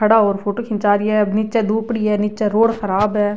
खड़ा और फोटो खींचा रिया है निचे धुप पड़ी है निचे रोड ख़राब है।